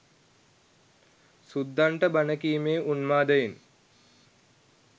සුද්දන්ට බණ කීමේ උන්මාදයෙන්